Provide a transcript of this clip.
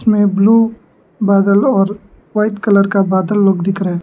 इसमें ब्लू बादल और वाइट कलर का बादल लोग दिख रहे है।